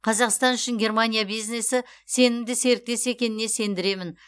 қазақстан үшін германия бизнесі сенімді серіктес екеніне сендіремін